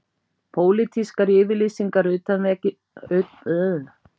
Pólitískar yfirlýsingar utanríkisráðherra útvötnuðu þingsályktunina